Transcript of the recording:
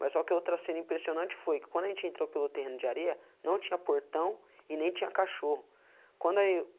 Mas só que outra cena impressionante foi que quando a gente entrou pelo terreno de areia, não tinha portão e nem tinha cachorro. Quando aí eu